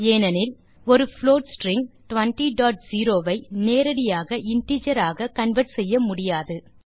ஏனெனில் ஒரு float string 200 ஐ நேரடியாக இன்டிஜர் ஆக கன்வெர்ட் செய்ய முடியாது